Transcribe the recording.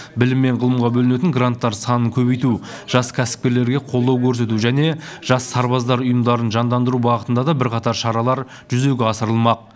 білім мен ғылымға бөлінетін гранттар санын көбейту жас кәсіпкерлерге қолдау көрсету және жас сарбаздар ұйымдарын жандандыру бағытында да бірқатар шаралар жүзеге асырылмақ